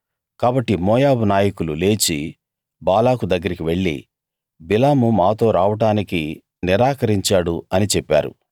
కాబట్టి మోయాబు నాయకులు లేచి బాలాకు దగ్గరికి వెళ్లి బిలాము మాతో రావడానికి నిరాకరించాడు అని చెప్పారు